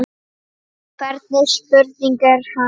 Hvernig spurning hér, ha?